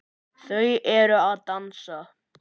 Þau eru að dansa